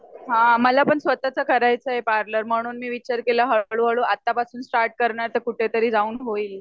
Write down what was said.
हा मला पण स्वतःच करायचंय पार्लर म्हणून मी विचार केला हळू हळू आता पासून स्टार्ट करणार तर कुठे तरी जाऊन होईल